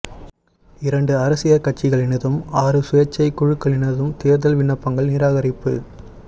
இரண்டு அரசியற் கட்சிகளினதும் ஆறு சுயேற்சைக் குழுக்களினதும் தேர்தல் விண்ணப்பங்கள் நிராகரிப்பு